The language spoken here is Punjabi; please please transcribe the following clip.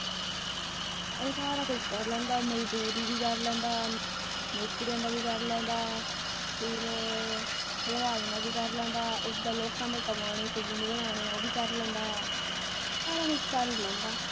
ਉਹ ਸਾਰਾ ਕੁਛ ਕਰ ਲੈਂਦਾ ਮਜ਼ਦੂਰੀ ਵੀ ਕਰ ਲੈਂਦਾ, ਮਿਸਤਰੀਆਂ ਦਾ ਵੀ ਕਰ ਲੈਂਦਾ ਫਿਰ ਹਲਵਾਈ ਨਾਲ ਵੀ ਕਰ ਲੈਂਦਾ, ਓਦਾਂ ਲੋਕਾਂ ਦੇ ਬਣਾਉਣੇ ਉਹ ਵੀ ਕਰ ਲੈਂਦਾ, ਸਾਰਾ ਕੁਛ ਕਰ ਹੀ ਲੈਂਦਾ।